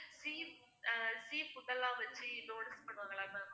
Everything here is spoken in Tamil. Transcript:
cheese அஹ் sea food எல்லாம் வச்சு donuts பண்ணுவாங்கல்ல ma'am